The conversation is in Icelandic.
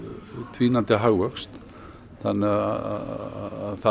dvínandi hagvöxt þannig að það